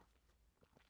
DR1